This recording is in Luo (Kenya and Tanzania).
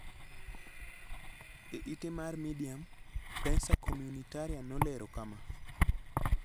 E ite mar Medium, Prensa Comunitaria nolero kama: